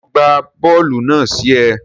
Ṣe o gba bóòlù náà sí é?